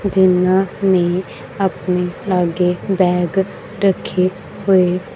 ਜਿਨ੍ਹਾਂ ਨੇਂ ਅਪਨੇ ਆਗੇ ਬੈਗ ਰੱਖੇ ਹੋਏ--